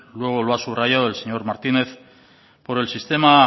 luego lo ha subrayado el señor martínez por el sistema